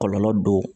Kɔlɔlɔ don